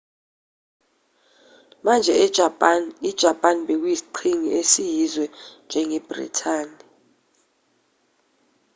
manje ejapani ijapani bekuyisiqhingi esiyizwe njengebhrithani